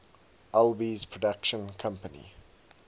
alby's production company